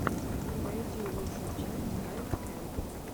найди лучшую часть хайп кэмп